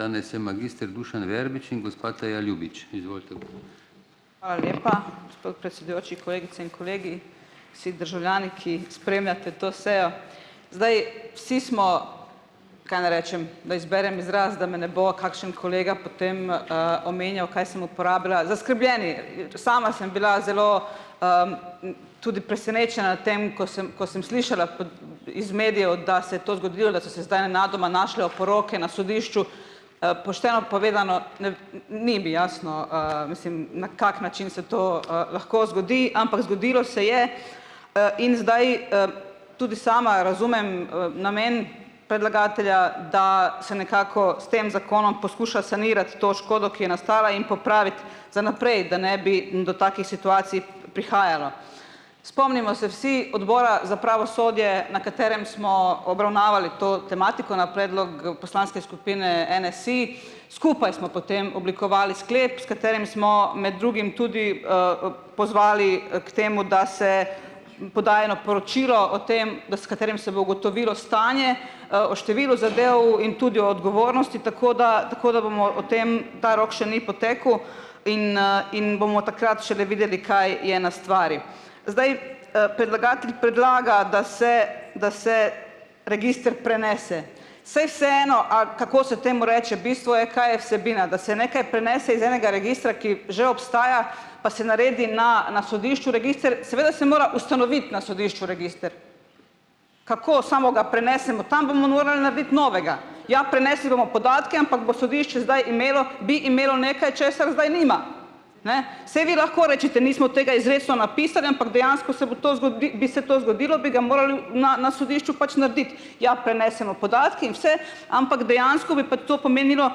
Hvala lepa, predsedujoči, kolegice in kolegi, vsi državljani, ki spremljate to sejo. Zdaj, vsi smo, kaj naj rečem, da izberem izraz, da me ne bo kakšen kolega potem, omenjal, kaj sem uporabila, zaskrbljeni. Sama sem bila zelo, tudi tem, ko sem ko sem slišala iz medijev, da se to zgodilo, da so se zdaj nenadoma našle oporoke na sodišču, pošteno povedano, nev, ni mi jasno, mislim, na kak način se to, lahko zgodi, ampak zgodilo se je, in zdaj, tudi sama razumem, namen, da se nekako s tem zakonom poskuša sanirati to škodo, ki je nastala in popraviti za naprej, da ne bi do takih situacij prihajalo. Spomnimo se vsi odbora za pravosodje, na katerem smo obravnavali to tematiko na predlog poslanske skupine NSi, skupaj smo potem oblikovali sklep, s katerim smo med drugim tudi, pozvali, k temu, da se poda eno poročilo o tem, da s katerim se bo ugotovilo stanje, o številu zadev in tudi o odgovornosti, tako da tako da bomo o tem, ta rok še ni potekel, in, in bomo takrat šele videli, kaj je na stvari. Zdaj, predlagatelj predlaga, da se da se register prenese. Saj vseeno, ali kako se temu reče, bistvo je, kaj je vsebina, da se nekaj prenese iz enega registra, ki že obstaja, pa se naredi na na sodišču register, seveda se mora ustanoviti na sodišču register. Kako? Samo ga prenesemo. Tam bomo morali narediti novega. Ja, prenesli bomo podatke, ampak bo sodišče zdaj imelo, bi imelo nekaj, česar zdaj nima. Ne, saj vi lahko rečete: "Nismo tega izrecno napisali." Ampak dejansko se bo to bi se to zgodilo, bi ga na na sodišču pač narediti. Ja, prenesemo podatke in vse, ampak dejansko bi pa to pomenilo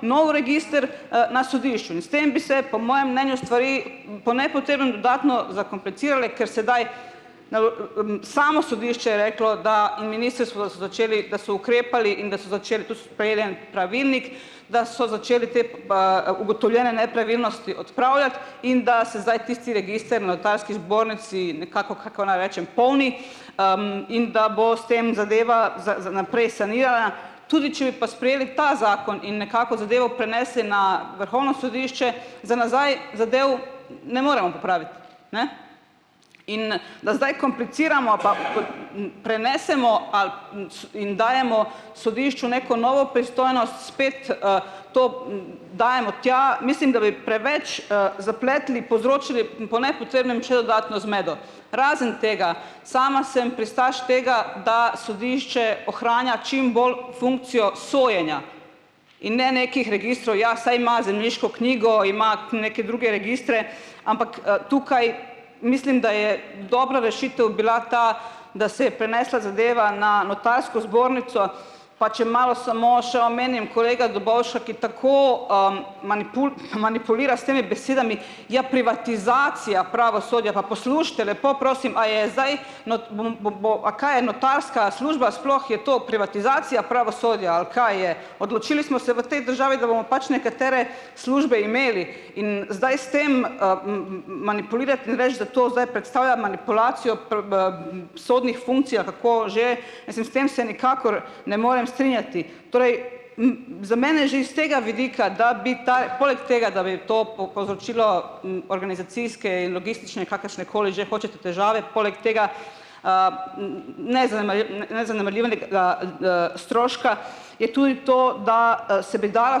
nov register, na sodišču in s tem bi se po mojem mnenju stvari po nepotrebnem dodatno, ker sedaj samo sodišče je reklo, da in začeli, da so ukrepali in da so začeli, en pravilnik, da so začeli te ugotovljene nepravilnosti odpravljati in da se zdaj tisti register Notarski zbornici nekako, kako naj rečem, polni, in da bo s tem zadeva za za naprej. Tudi, pa sprejeli ta zakon in nekako zadevo prinesli na Vrhovno sodišče, za nazaj zadev ne moremo popraviti. Ne, in da zdaj kompliciramo pa prenesemo ali in dajemo sodišču neko novo pristojnost, spet, to, dajemo tja, mislim da bi preveč, zapletli, povzročili, po nepotrebnem če dodatno zmedo. Razen tega, sama sem pristaš tega, da sodišče ohranja čim bolj funkcijo sojenja in ne nekih registrov. Ja, saj ima zemljiško knjigo, ima ke neke druge registre, ampak, tukaj mislim, da je dobra rešitev bila ta, da se je prenesla zadeva na zbornico. Pa če malo samo še omenim kolega Dobovša, ki tako, manipulira s temi besedami. Je privatizacija pravosodja. Pa poslušajte, lepo prosim, a je zdaj, bom bo bo, a kaj je notarska služba, sploh je to privatizacija pravosodja, ali kaj je? Odločili smo se v tej državi, pač nekatere službe imeli, in zdaj s tem, manipulirati in reči, da to zdaj manipulacijo sodnih funkcij, kako že, esim se tem se nikakor ne morem strinjati. Torej, z mene že iz tega vidika, da bi tako, poleg tega, da bi to povzročilo, organizacijske in logistične, kakršnekoli že hočete težave poleg tega, stroška, je tudi to, da, se bi dala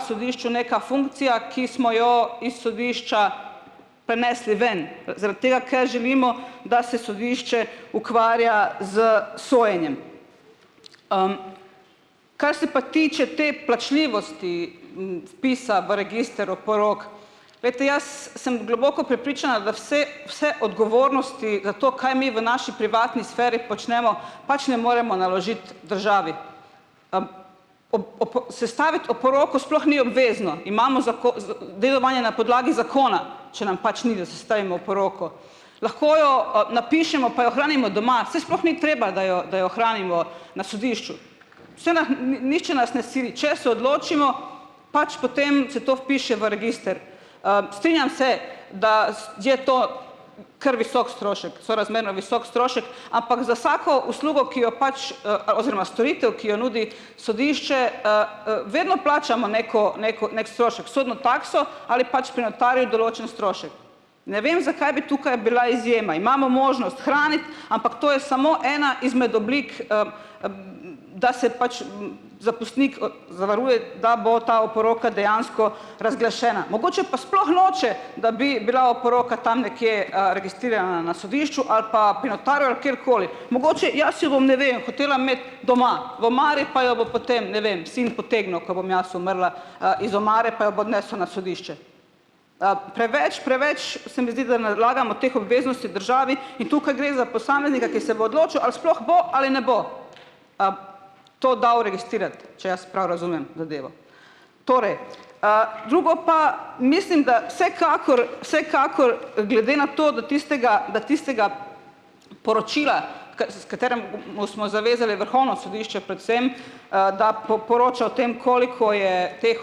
sodišču neka funkcija, ki smo jo iz sodišča ponesli ven, zaradi tega, ker želimo, da se sodišče ukvarja s sojenjem. Kar se pa tiče te plačljivosti, vpisa v register oporok. Glejte, jaz sem globoko prepričana, da vse vse odgovornosti za to, kaj mi v naši privatni sferi počnemo, pač ne moremo naložiti državi. sestaviti oporoko sploh ni obvezno. Imamo dedovanje na podlagi zakona, če nam pač ni, oporoko. Lahko jo, napišemo, pa jo hranimo doma, saj sploh ni treba, da jo da jo hranimo na sodišču. Nihče nas ne sili. Če se odločimo, pač, potem se to vpiše v register. strinjam se, da je to kar visok strošek, sorazmerno visok strošek, ampak za vsako uslugo, ki jo pač, ali oziroma storitev, ki jo nudi sodišče, vedno plačamo neko neko neki strošek, sodno takso ali pač pri notarju določen strošek. Ne vem, zakaj bi tukaj bila izjema. Imamo možnost hraniti, ampak to je samo ena izmed oblik, da se pač zapustnik, zavaruje, da bo ta oporoka dejansko razglašena. Mogoče pa sploh noče, da bi bila oporoka tam nekje, na sodišču ali pa kjerkoli. Mogoče, jaz jo bom, ne vem, hotela imeti doma, v omari, pa jo bo potem, ne vem, sin potegnil, ko bom jaz umrla, iz omare pa jo bo odnesel na sodišče. preveč, preveč se mi zdi, da nalagamo teh obveznosti državi. In tukaj gre za posameznika, ki se bo odločil, ali sploh bo ali ne bo, to dal registrirati, če jaz prav razumem zadevo. Torej, drugo pa, mislim, da vsekakor vsekakor, glede na to, da tistega da tistega poročila, smo zavezali Vrhovno sodišče predvsem, da poroča o tem, koliko je teh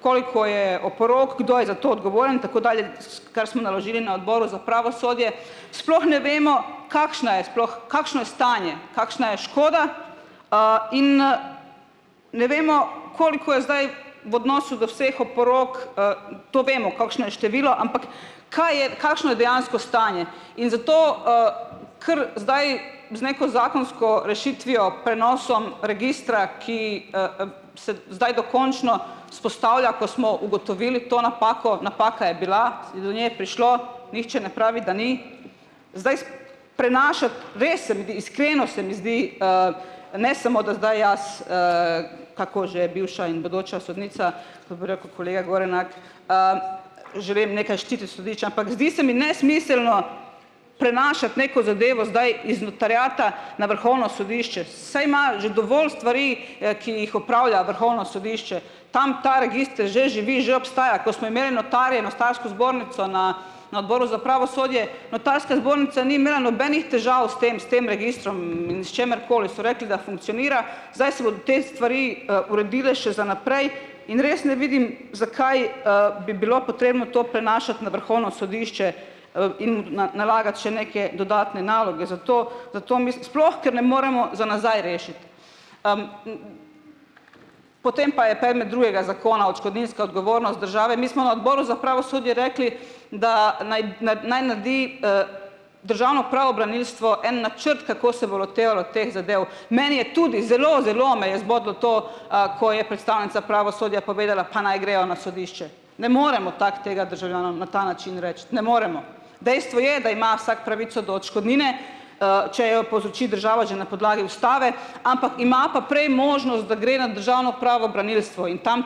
koliko je oporok, kdo je za to odgovoren, tako kar smo naložili na Odboru za pravosodje, sploh ne vemo, kakšna je sploh, kakšno je stanje, kakšna je škoda, in ne vemo, koliko je zdaj v odnosu do vseh oporok, to vemo, kolikšno je število, ampak kaj je, kakšno je dejansko stanje. In zato, ker zdaj bi z neko zakonsko rešitvijo prenosom registra, ki, se zdaj dokončno vzpostavlja, ko smo ugotovili to napako, napaka je bila, prišlo, nihče ne pravi, da ni. Prenašati se mi zdi, iskreno, se mi zdi, ne, smo, da zdaj jaz, kako že, bivša in bodoča sodnica, ke bi rekel kolega Gorenak, že vem, ampak zdi se mi nesmiselno prenašati neko zadevo zdaj iz notariata na Vrhovno sodišče. Saj ima že dovolj stvari, ki jih opravlja Vrhovno sodišče. Tam ta register že živi, že obstaja. Ko smo imeli notarje, zbornico, na na Odboru za pravosodje, notarska zbornica ni imela nobenih težav s tem s tem registrom in s čimerkoli. So rekli, da funkcionira. Zdaj se bodo te stvari, uredile še za naprej. In res ne vidim, zakaj, bi bilo potrebno to na Vrhovno sodišče, in nalagati še neke dodatne naloge, zato zato sploh ker ne moremo za nazaj rešiti. Potem pa je predmet druega zakona odškodninska odgovornost države. Mi smo na Odboru za pravosodje rekli, da naj naredi, državno pravobranilstvo en načrt, kako se bo lotevalo teh zadev. Meni je tudi zelo zelo me je zbodlo to, ko je predstavnica pravosodja povedala: "Pa naj grejo na sodišče." Ne moremo tako tega državljanom na ta način reči. Ne moremo. Dejstvo je, da ima vsak pravico do odškodnine, če jo povzroči država že na podlagi ustave, ampak ima pa prej možnost, da gre na državno pravobranilstvo. In tam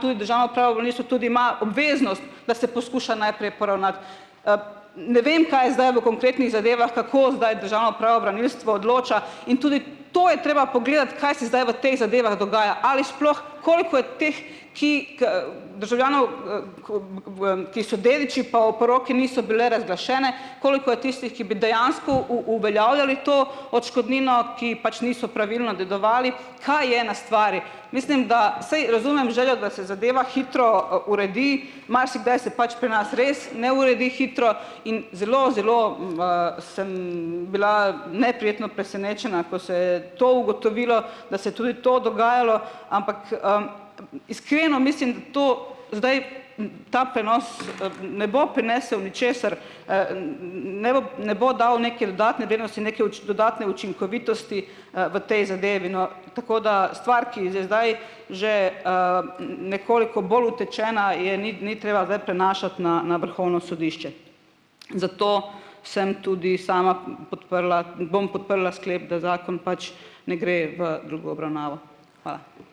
tudi ima obveznost, da se poskuša najprej poravnati. Ne vem, kaj zdaj v konkretnih zadevah, kako zdaj odloča, in tudi to je treba pogledati, kaj se zdaj v tej zadevah dogaja. Ali sploh, koliko je teh, ki, državljanov, ki so dediči, pa oporoke niso bile razglašene, koliko je tistih, ki bi dejansko uveljavljali to odškodnino, ki pač niso pravilno dedovali, kaj je na stvari. Mislim, da, saj razumem željo, da se zadeva hitro, uredi, marsikdaj se pač pri nas res ne uredi hitro in zelo zelo, sem bila neprijetno presenečena, ko se je to ugotovilo, da se je tudi to dogajalo. Ampak, mislim, da to zdaj, ta prenos, ne bo prinesel ničesar, ne bo dal neke neke dodatne učinkovitosti, v tej zadevi, no. Tako da stvar, ki zdaj zdaj že, nekoliko bolj utečena, je ni ni treba zdaj prenašati na na Vrhovno sodišče. Zato sem tudi sama podprla, bom podprla sklep, da zakon pač ne gre v drugo obravnavo. Hvala.